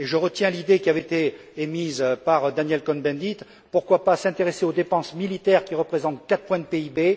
Je retiens l'idée qui avait été émise par Daniel Cohn Bendit pourquoi ne pas s'intéresser aux dépenses militaires, qui représentent quatre points de PIB?